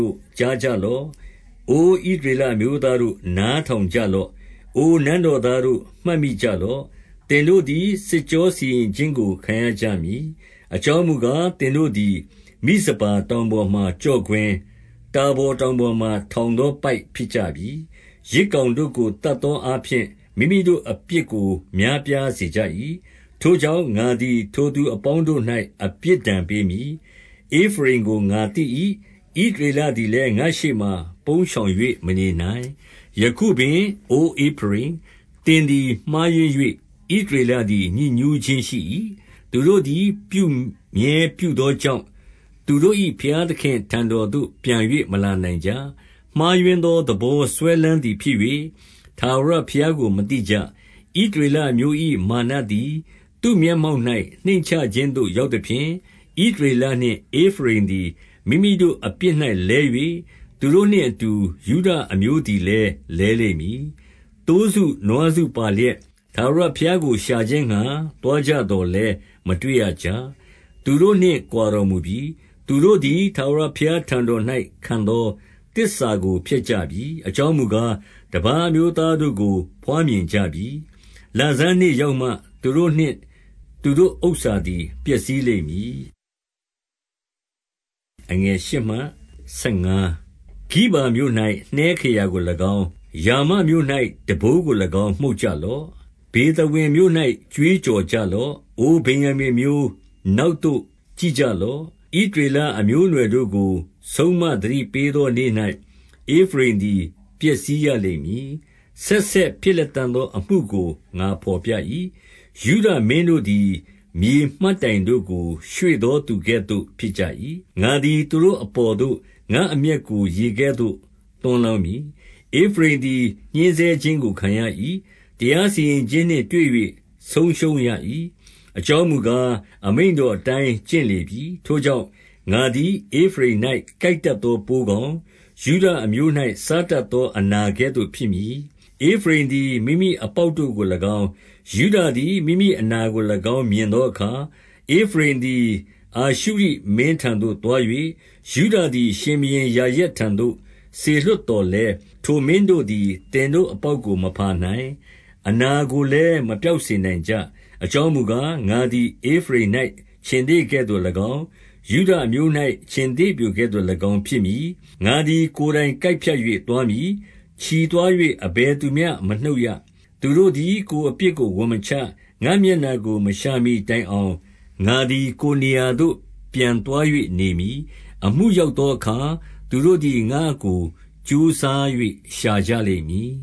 ု့၊ ကြားကြလော့။ အိုဣသရေလအမျိုးသားတို့၊ နားထောင်ကြလော့။ အို နန်းတော် သားတို့၊ နားထောင်ကြလော့။ သင်တို့သည် စစ်ကြော စီရင်ခြင်းကို ခံရကြမည်။ အကြောင်းမူကား၊ သင်တိုသည် မိဇပါတောင်ပေါ်မှာကျော့ကွင်း၊ တာဗော်တောင်ပေါ်မှာထောင်သော ပိုက်ဖြစ်ကြပြီ။ ယဇ်ကောင် တို့ကိုသတ်သောအားဖြင့် မိမိတို့အပြစ်ကို များပြားစေကြ၏။ ထိုကြောင့်၊ ငါသည် ထိုသူအပေါင်းတို့၌ အပြစ်ဒဏ် ပေးမည်။ ဧဖရိမ်ကို ငါသိ၏။ ဣသရေလသည်လည်းငါ့ရှေ့မှ ပုန်းရှောင်၍ မနေနိုင်။ ယခုပင် အိုဧဖရိမ်၊ သင်သည်မှားယွင်း၍ ဣသရေလသည် ညစ်ညူးခြင်းရှိ၏။ သူတို့သည်ပြုမြဲပြုသောကြောင့်၊ သူတို့၏ဘုရားသခင့် ထံတော်သို့ပြန်၍ မလာနိုင်ကြ။ မှားယွင်းသော သဘောစွဲလမ်းသည်ဖြစ်၍၊ ထာဝရဘုရားကိုမသိကြ။ ဣသရေလအမျိုး၏ မာနသည်သူ့မျက်မှောက်၌ နှိမ့်ချခြင်းသို့ရောက်သဖြင့်၊ ဣသရေလနှင့် ဧဖရိမ်သည် မိမိတို့ အပြစ်၌လဲ၍၊ သူတို့နှင့် အတူယုဒ အမျိုးသည်လည်းလဲလိမ့်မည်။ သိုးစု နွားစု ပါလျက်၊ ထာဝရဘုရားကိုရှာခြင်းငှါ သွားကြသော်လည်း မတွေ့ရကြ။ သူတို့နှင့် ကွာတော်မူပြီ။ သူတို့သည်ထာဝရဘုရားထံတော်၌ ခံသောသစ္စာကို ဖျက်ကြပြီ။ အကြောင်းမူကား၊ တပါးအမျိုးသား တို့ကို ဘွားမြင်ကြပြီ။ လဆန်းနေ့ရောက်မှ သူတို့နှင့်သူတို့ဥစ္စာသည်ပျက်စီးလိမ့်မည်။ ဂိဗာမြို့၌ နှဲခရာကို၎င်း၊ ရာမမြို့၌ တံပိုးကို၎င်း မှုတ်ကြလော့။ ဗေသဝင်မြို့၌ ကြွေးကြော်ကြလော့။ အိုဗင်္ယာမိန်အမျိုး၊ နောက်သို့ ကြည့်ကြလော့။ ဣသရေလ အမျိုးအနွယ်တို့ကို ဆုံးမသတိပေး သော နေ့၌ ဧဖရိမ်သည် ပျက်စီးရလိမ့်မည်။ ဆက်ဆက် ဖြစ်လတံ့သော အမှုကို ငါဘော်ပြ၏။ ယုဒမင်းတို့သည် မြေမှတ်တိုင်တို့ကို ရွှေ့သော သူကဲ့သို့ ဖြစ်ကြ၏။ ငါသည် သူတို့အပေါ်သို့ ငါ့အမျက်ကို ရေကဲ့သို့ သွန်းလောင်းမည်။ ဧဖရိမ်သည် ညှဉ်းဆဲခြင်းကို ခံရ၏။ တရား စီရင်ခြင်းနှင့်တွေ့၍ ဆုံးရှုံးရ၏။ အကြောင်းမူကား၊ အမိန့်တော်အတိုင်း ကျင့်လေပြီ။ ထိုကြောင့်၊ ငါသည် ဧဖရိမ်၌ ကိုက်တတ်သော ပိုးကောင်၊ ယုဒအမျိုး၌ စားတတ်သော အနာကဲ့သို့ ဖြစ်မည်။ ဧဖရိမ်သည် မိမိအပေါက်တို့ကို၎င်း၊ ယုဒသည် မိမိအနာကို၎င်း မြင်သောအခါ၊ ဧဖရိမ်သည် အာရှု ရှိမင်းထံသို့ သွား၍၊ ယုဒသည် ရှင်ဘုရင်ယာရက်ထံသို့ စေလွှတ်သော်လည်း၊ ထိုမင်းတို့သည် သင်တို့အပေါ်ကို မဖါနိုင်၊ အနာကိုလည်း မပျောက်စေနိုင်ကြ။ အကြောင်းမူကား၊ ငါသည် ဧဖရိမ်၌ ခြင်္သေ့ကဲ့သို့၎င်း၊ ယုဒအမျိုး၌ ခြင်္သေ့ပျိုကဲ့သို့၎င်း ဖြစ်မည်။ငါသည် ကိုယ်တိုင်ကိုက်ဖြတ်၍ သွားမည်။ ချီသွား၍ အဘယ်သူမျှ မနှုတ်ရ။ သူတို့သည် ကိုယ်အပြစ်ကို ဝန်မချ။ ငါ့မျက်နှာ ကို မရှာမှီတိုင်အောင် ငါသည် ကိုယ်နေရာသို့ ပြန်သွား၍ နေမည်။ အမှုရောက်သောအခါ သူတို့သည် ငါ့ကိုကြိုးစား ၍ ရှာကြလိမ့်မည်